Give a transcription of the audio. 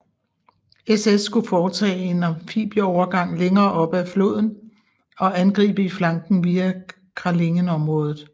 SS skulle foretage en amfibieovergang længere oppe ad floden og angribe i flanken via Kralingenområdet